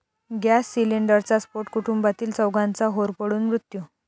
gas सिलेंडरचा स्फोट, कुटुंबातील चौघांचा होरपळून मृत्यू